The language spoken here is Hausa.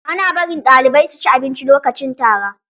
Ana barin ɗalibai su ci abinci lokacin tara.